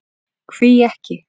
Hví ekki?